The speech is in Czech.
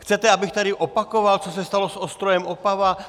Chcete, abych tady opakoval, co se stalo s Ostrojem Opava?